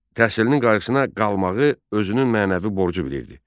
Təhsilinin qayğısına qalmağı özünün mənəvi borcu bilirdi.